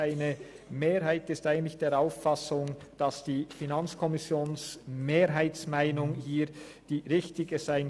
Eine Mehrheit ist der Auffassung, die FiKoMehrheitsmeinung könnte hier richtig sein.